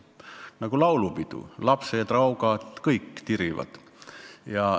Nagu laulupidu – lapsed, raugad, kõik tirivad.